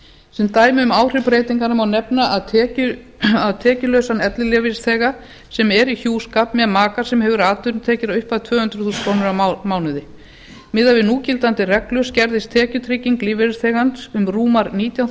sem dæmi um áhrif breytinganna má nefna tekjulausan ellilífeyrisþega sem er í hjúskap með maka sem hefur atvinnutekjur að upphæð tvö hundruð þúsund krónur á mánuði miðað við núgildandi reglur skerðist tekjutrygging lífeyrisþegans um rúmar nítján